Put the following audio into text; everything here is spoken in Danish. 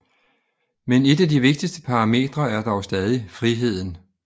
Men et af de vigtigste parametre er dog stadig friheden